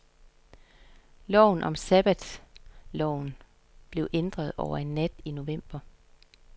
Loven om sabbatorloven blev ændret over en nat i november.